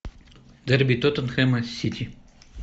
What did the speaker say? дерби тоттенхэма с сити